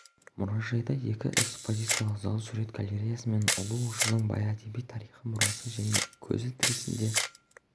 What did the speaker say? алматыда жас отбасы баспаналы болды саялы ықшам ауданынан жаңа пәтерге қол жеткізген жұртшылық қоныс тойын тойлауда